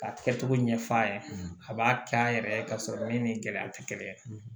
Ka tigɛ cogo ɲɛf'a ɲɛna a b'a kɛ an yɛrɛ ye k'a sɔrɔ min ni gɛlɛya tɛ kelen